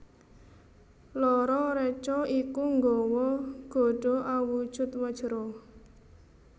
Loro reca iku nggawa gada awujud Wajra